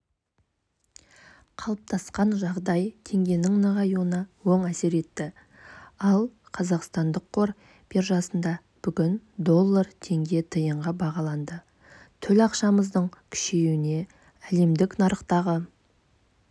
қалыптасқан жағдай теңгенің нығаюына оң әсер етті ал қазақстандық қор биржасында бүгін доллар теңге тиынға бағаланды төл ақшамыздың күшеюіне әлемдік нарықтағы